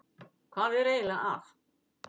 Hvað er eiginlega að?